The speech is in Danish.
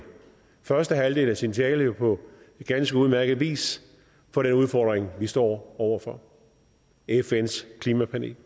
første halvdel af sin tale på ganske udmærket vis for den udfordring vi står over for fns klimapanel